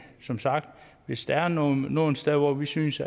som sagt hvis der er nogle nogle steder hvor vi synes